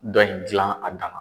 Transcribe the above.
Dɔ in gilan a dan ma.